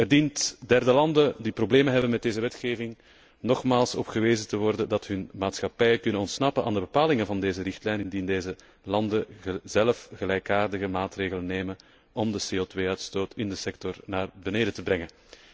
Er dient derde landen die problemen hebben met deze wetgeving nogmaals op gewezen te worden dat hun maatschappijen kunnen ontsnappen aan de bepalingen van deze richtlijn indien deze landen zelf soortgelijke maatregelen nemen om de CO 2 uitstoot in de sector naar beneden te brengen.